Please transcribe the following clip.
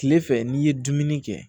Tilefɛ n'i ye dumuni kɛ